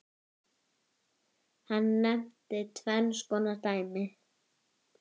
Hann nefnir tvenns konar dæmi